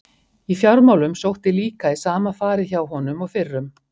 Í fjármálum sótti líka í sama farið hjá honum og fyrrum.